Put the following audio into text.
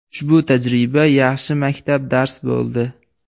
Ushbu tajriba yaxshi maktab dars bo‘ldi.